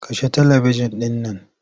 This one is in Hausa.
Kashe talibijin ɗin nan.